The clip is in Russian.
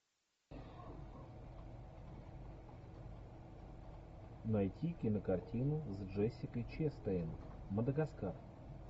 найти кинокартину с джессикой честейн мадагаскар